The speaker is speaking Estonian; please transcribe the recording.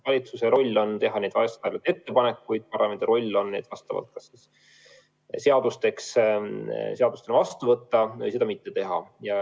Valitsuse roll on teha ettepanekuid, parlamendi roll on need seadustena vastu võtta või seda mitte teha.